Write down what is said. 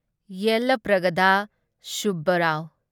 ꯌꯦꯜꯂꯄ꯭ꯔꯒꯗ ꯁꯨꯕꯕꯔꯥꯎ